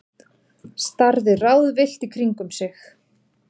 Starði ráðvillt í kringum sig.